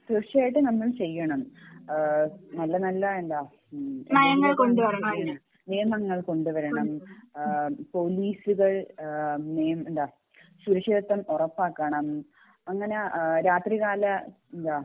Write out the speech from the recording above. തീർച്ചയായിട്ടും നമ്മൾ ചെയ്യണം ആഹ് നല്ല നല്ല എന്താ മ്മ് നിയമങ്ങൾ കൊണ്ടുവരണം പോലീസുകൾ ആഹ് നിയ എന്താ സുരക്ഷിതത്വം ഉറപ്പാക്കണം അങ്ങിനെ അഹ് രാത്രി കാല എന്താ